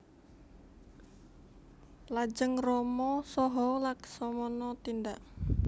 Lajeng Rama saha Laksamana tindak